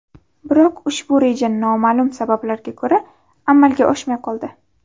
Biroq ushbu reja noma’lum sabablarga ko‘ra, amalga oshmay qoldi.